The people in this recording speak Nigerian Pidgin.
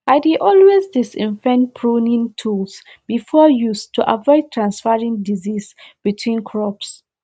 i dey always disinfect pruning tools before use to avoid transferring disease between crops